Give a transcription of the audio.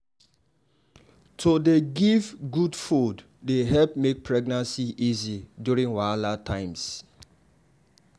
to dey give good food dey help make pregnancy easy during wahala times.